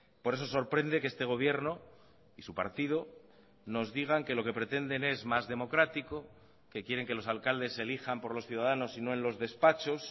por eso sorprende que este gobierno y su partido nos digan que lo que pretenden es más democrático que quieren que los alcaldes se elijan por los ciudadanos y no en los despachos